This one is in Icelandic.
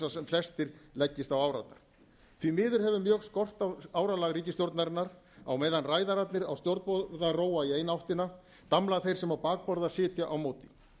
flestir leggist á árarnar því miður hefur mjög skort á áralag ríkisstjórnarinnar á meðan ræðararnir á stjórnborða róa í eina áttina damla þeir sem á bakborða sitja á móti